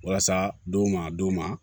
Walasa don ma don ma